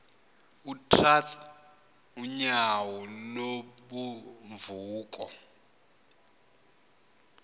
utrath unyauo lubunvoko